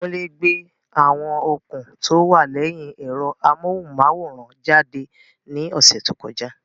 Kunle gbé àwọn okùn tó wà lẹ́yìn ẹ̀rọ amóhùnmáwòrán jáde ní ọ̀sẹ̀ tó kọjá.